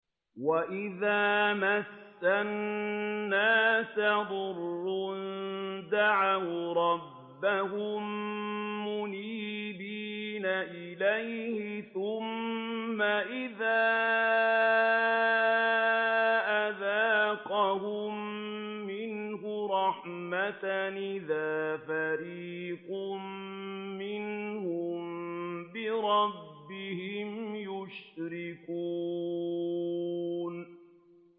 وَإِذَا مَسَّ النَّاسَ ضُرٌّ دَعَوْا رَبَّهُم مُّنِيبِينَ إِلَيْهِ ثُمَّ إِذَا أَذَاقَهُم مِّنْهُ رَحْمَةً إِذَا فَرِيقٌ مِّنْهُم بِرَبِّهِمْ يُشْرِكُونَ